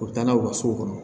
U bɛ taa n'a ye u ka so kɔnɔ